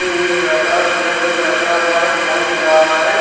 एक लड़का चेयर पे बैठा हुआ है फोन चला रहा है।